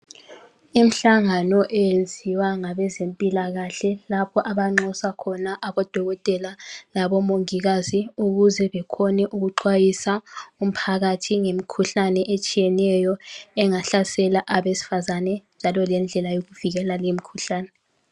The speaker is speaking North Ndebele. Imhlangano eyenziwa ngabezempilakahle lapha abanxusa khona abodokotela labomongikazi ukuze bekhone ukuxhwayisa umphakathi ngemikhuhlane etshiyeneyo engahlasela abesifazane, njalo lendlela yokuvikela leyo mkhuhlane.